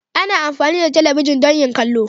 Ana amfani da talabijin don yin kallo.